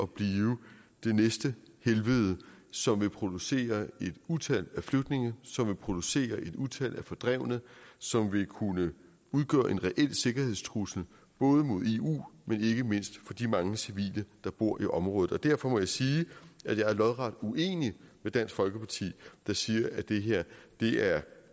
blive det næste helvede som vil producere et utal af flygtninge som vil producere et utal af fordrevne og som vil kunne udgøre en reel sikkerhedstrussel både mod eu men ikke mindst for de mange civile der bor i området derfor må jeg sige at jeg er lodret uenig med dansk folkeparti der siger at det her